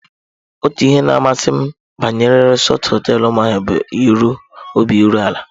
Otu ihe na-amasị m banyere Resort hoteelu Umuahia bụ obi iru ala.